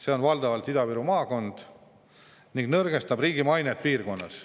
See on valdavalt Ida-Viru maakond ning nõrgestab riigi mainet piirkonnas.